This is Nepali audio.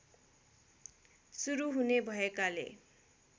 सुरु हुने भएकाले